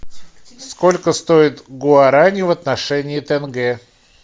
сколько стоит гуарани в отношении тенге